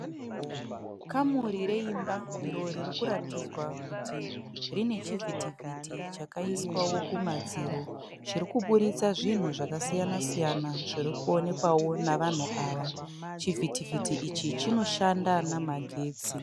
Kamuri reimba iro ririkuratidzwa kuti rine chivhitivhiti chakaiswawo kumadziro. Chirikubuditsa zvinhu zvakasiyana- siyana zvirikuonekwawo navanhu ava. Chivhiti-vhiti ichi chinoshanda namagetsi.